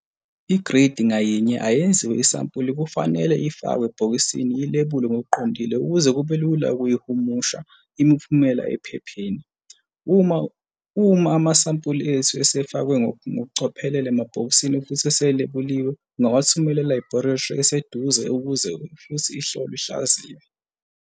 Igridi ngayinye ayenziwe isampuli kufanele ifakwe ebhokisini ilebulwe ngokuqondile ukuze kube lula ukuyihumusha imiphumela ephepheni. Uma amasampuli ethu esefakwe ngokucophelela emabhokisini futhi iselebuliwe ungawathumela e-labolatory eseduze ukuba uhlolwe futhi uhlaziywe.